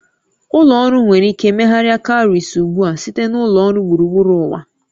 Ụlọ ọrụ nwere ike megharịa cowries ugbu a site na ụlọ ọrụ gburugburu ụwa